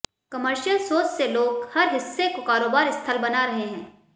commercial सोच से लोग हर हिस्से को कारोबार स्थल बना रहे हैं